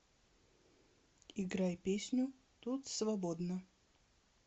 играй песню тут свободно